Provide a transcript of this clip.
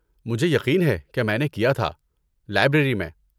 مجھے یقین ہے کہ میں نے کیا تھا، لائبریری میں۔